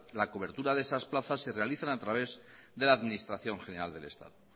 la cobertura de esas plazas se realizan a través de la administración general del estado